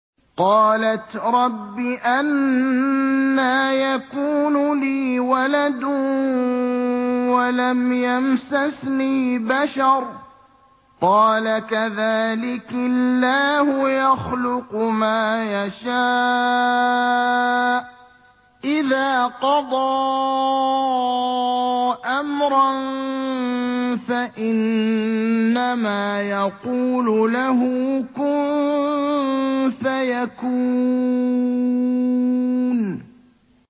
قَالَتْ رَبِّ أَنَّىٰ يَكُونُ لِي وَلَدٌ وَلَمْ يَمْسَسْنِي بَشَرٌ ۖ قَالَ كَذَٰلِكِ اللَّهُ يَخْلُقُ مَا يَشَاءُ ۚ إِذَا قَضَىٰ أَمْرًا فَإِنَّمَا يَقُولُ لَهُ كُن فَيَكُونُ